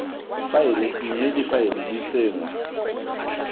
faele mme difaele di tsenngwa